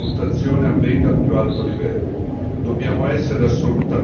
È essenziale che questa valutazione avvenga al più alto livello.